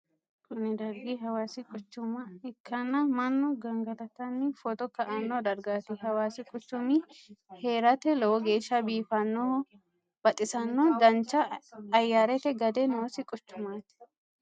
kuni dargi hawasi quchuma ikkanna mannu gangalatanni foto ka"anno dargati. hawasi quchumi heerate lowo geesha biifadonna baxissanno. dancha ayarete gade noosi quchumati.